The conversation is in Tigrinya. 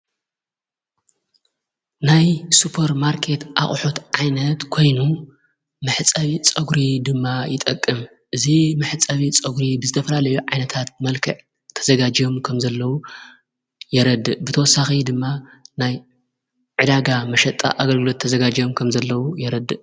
ናይ ሱፐ ር ማርከት ኣቕሑት ዓይነት ኮይኑ መሕጸቢ ጸጕሪ ድማ ይጠቅም እዙ መሕጸቢ ጸጕሪ ብዝተፈላለዮ ዓይነታት መልከ ተዘጋጀዮም ከም ዘለዉ የረድ ብተወሳኺ ድማ ናይ ዕዳጋ መሸጣ ኣገልግሎት ተዘጋጀዮም ከም ዘለዉ የረድእ ::